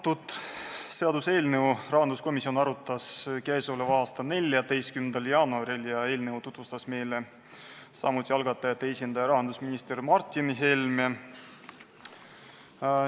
Seda seaduseelnõu arutas rahanduskomisjon k.a 14. jaanuaril ja eelnõu tutvustas meile algatajate esindaja rahandusminister Martin Helme.